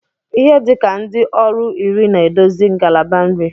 Ihe dị ka ndị ọrụ iri na-edozi ngalaba nri